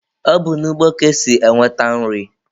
Ọ bụ n'ugbo ka esi enweta nri.